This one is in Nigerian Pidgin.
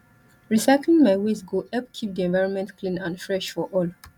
recycling my waste go help keep di environment clean and fresh for all